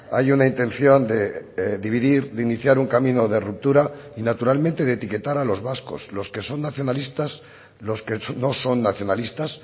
hay una intención de dividir de iniciar un camino de ruptura y naturalmente de etiquetar a los vascos los que son nacionalistas los que no son nacionalistas